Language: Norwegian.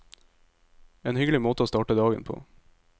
En hyggelig måte å starte dagen på.